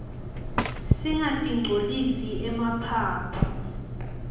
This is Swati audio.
singatirqcolisi emaphaphu